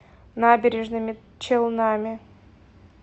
набережными челнами